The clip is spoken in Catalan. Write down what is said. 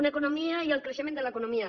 una economia i el creixement de l’economia